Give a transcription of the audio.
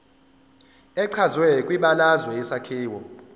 echazwe kwibalazwe isakhiwo